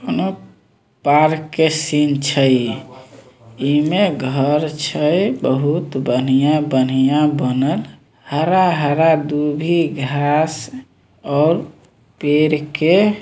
कउनो पार्क के सीन छै इमें घर छै बहुत बढ़िया-बढ़िया बनल हरा-हरा दुभी घास और पेड़ के --